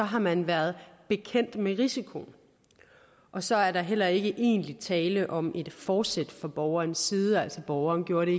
har man været bekendt med risikoen og så er der heller ikke egentlig tale om et fortsæt fra borgerens side borgeren gør det